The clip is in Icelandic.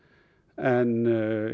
en